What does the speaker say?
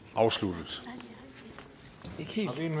afsluttet